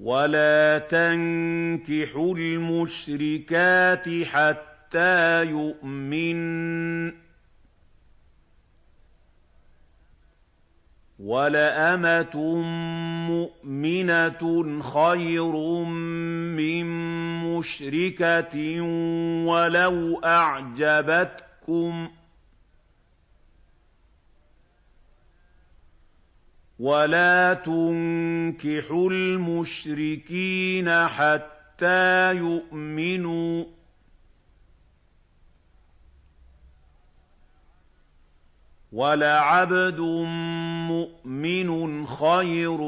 وَلَا تَنكِحُوا الْمُشْرِكَاتِ حَتَّىٰ يُؤْمِنَّ ۚ وَلَأَمَةٌ مُّؤْمِنَةٌ خَيْرٌ مِّن مُّشْرِكَةٍ وَلَوْ أَعْجَبَتْكُمْ ۗ وَلَا تُنكِحُوا الْمُشْرِكِينَ حَتَّىٰ يُؤْمِنُوا ۚ وَلَعَبْدٌ مُّؤْمِنٌ خَيْرٌ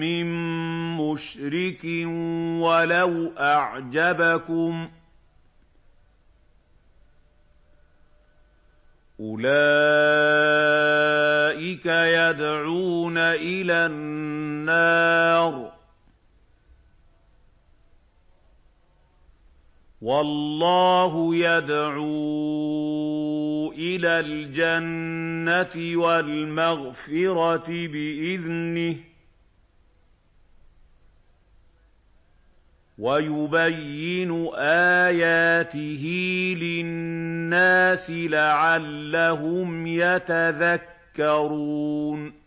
مِّن مُّشْرِكٍ وَلَوْ أَعْجَبَكُمْ ۗ أُولَٰئِكَ يَدْعُونَ إِلَى النَّارِ ۖ وَاللَّهُ يَدْعُو إِلَى الْجَنَّةِ وَالْمَغْفِرَةِ بِإِذْنِهِ ۖ وَيُبَيِّنُ آيَاتِهِ لِلنَّاسِ لَعَلَّهُمْ يَتَذَكَّرُونَ